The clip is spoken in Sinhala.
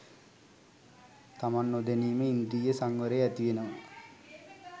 තමන් නොදැනීම ඉන්ද්‍රිය සංවරය ඇතිවෙනවා